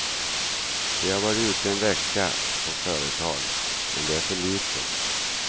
Vi har varit ute en vecka på företag, men det är för lite.